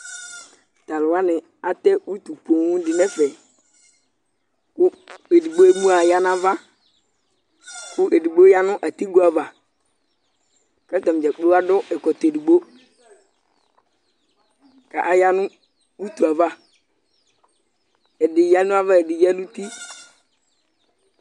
Taluwani atɛ uti poooŋ dinɛfɛ Kʋ edigbo emu'ayanavaKʋ edigbo yanʋ atigo'avaKatanidzakplo adʋ ɛkɔtɔ edigboKʋ ayanʋ utuyɛ'avaƐdi yanava ɛdi yanuti